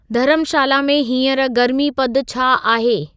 धर्मशाला में हींअर गर्मी पदु छा आहे